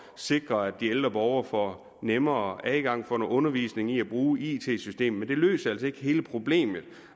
sikre at de ældre borgere får nemmere adgang får noget undervisning i at bruge it systemer men det løser altså ikke hele problemet